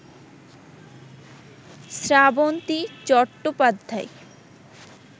Srabanti Chattopadhyay